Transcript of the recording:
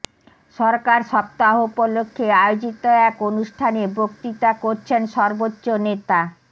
সরকার সপ্তাহ উপলক্ষে আয়োজিত এক অনুষ্ঠানে বক্তৃতা করছেন সর্বোচ্চ নেতা